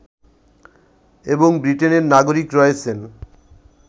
এবং ব্রিটেনের নাগরিক রয়েছেন